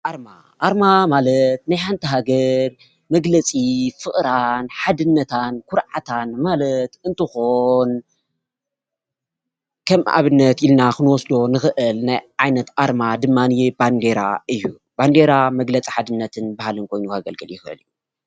ኣርማ ኣርማ ማለት ናይ ሓንቲ ሃገር መግለፂ ፍቅራን ሓድነታን ኩርዓታን ማለት እንትኮን ከም ኣብነት ኢልና ክንወስዶ እንክእል ናይ ዓይነት ኣርማ ድማ ባንዴራ እዩ። ባንዴራ መግለፂ ሓድነት ባህሊን ኮይኑ ከገልግል ይክእል እዩ።